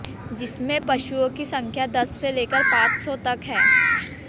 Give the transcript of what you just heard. जिसमें पशुओं की संख्या दस से लेकर पॉंच सौ तक है